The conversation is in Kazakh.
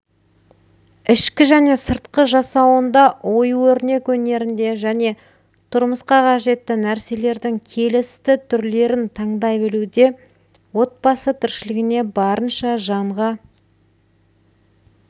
ішкі және сыртқы жасауында ою-өрнек өнерінде және тұрмысқа қажетті нәрселердің келісті түрлерін таңдай білуде отбасы тіршілігіне барынша жанға